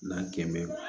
N'an kɛmɛ